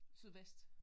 Sydvest